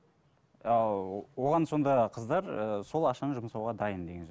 ал оған сонда қыздар ы сол ақшаны жұмсауға дайын деген сөз